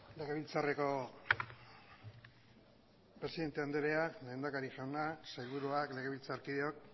legebiltzarreko presidente andrea lehendakari jauna sailburuak legebiltzarkideok